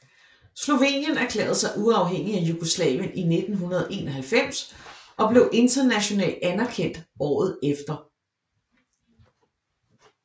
Slovenien erklærede sig uafhængige af Jugoslavien i 1991 og blev international anerkendt året efter